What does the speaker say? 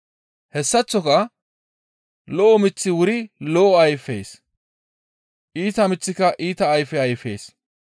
Hessaththoka lo7o miththi wuri lo7o ayfees; iita miththika iita ayfe ayfees.